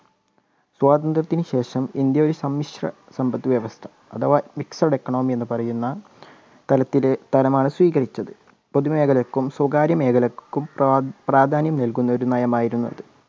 സ്വാതന്ത്ര്യത്തിനുശേഷം India ഒരു സമ്മിശ്ര സമ്പത്ത് വ്യവസ്ഥ അഥവാ Mixed economy എന്ന് പറയുന്ന തലത്തിലെ തരമാണ് സ്വീകരിച്ചത് പൊതുമേഖലയ്ക്കും സ്വകാര്യ മേഖലയ്ക്കും പ്രാധാന്യം നൽകുന്ന ഒരു നയമായിരുന്നു അത്.